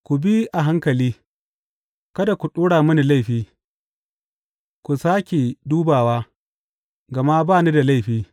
Ku bi a hankali, kada ku ɗora mini laifi; ku sāke dubawa, gama ba ni da laifi.